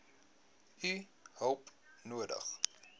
u hulp nodig